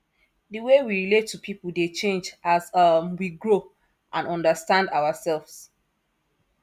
di way we relate to people dey change as um we grow and understand ourselves